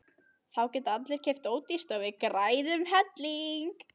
Þá geta allir keypt ódýrt og við græðum helling!